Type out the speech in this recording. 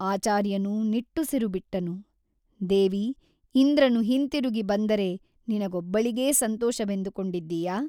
ಆಚಾರ್ಯನು ನಿಟ್ಟುಸಿರುಬಿಟ್ಟನು ದೇವಿ ಇಂದ್ರನು ಹಿಂತಿರುಗಿ ಬಂದರೆ ನಿನಗೊಬ್ಬಳಿಗೇ ಸಂತೋಷವೆಂದುಕೊಂಡಿದ್ದೀಯಾ ?